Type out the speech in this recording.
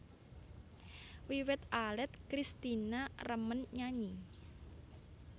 Wiwit alit Kristina remen nyanyi